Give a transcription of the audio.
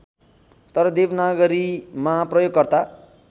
तर देवनागरीमा प्रयोगकर्ता